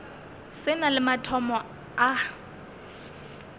se na le mathomo a